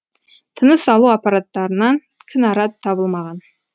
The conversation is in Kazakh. тыныс алу аппаратынан кінәрат табылмаған